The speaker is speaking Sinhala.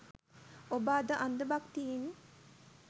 ඔබ අද අන්ධ භක්තියෙන්